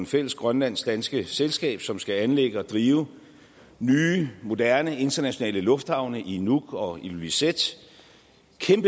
fælles grønlandsk danske selskab som skal anlægge og drive nye moderne internationale lufthavne i nuuk og ilulissat